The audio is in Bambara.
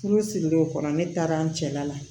Furu sirilen o kɔrɔ ne taara an cɛla la